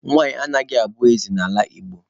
Nwanyị anaghị abụ eze n'ala Igbo.